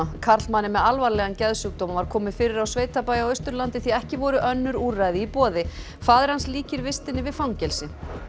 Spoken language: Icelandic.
karlmanni með alvarlegan geðsjúkdóm var komið fyrir á sveitabæ á Austurlandi því ekki voru önnur úrræði í boði faðir hans líkir vistinni við fangelsi